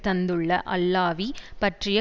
தந்துள்ள அல்லாவி பற்றிய